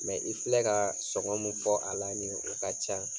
i filɛ ka sɔgɔ mun fɔ a la ni, o ka ca